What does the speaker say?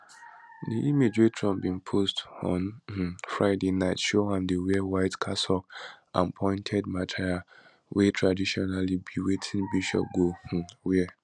di image wey trump bin post on um friday night show am dey wear white cassock and pointed mitre wey traditionally be wetin bishop go um wear